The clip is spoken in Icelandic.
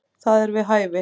Það er við hæfi.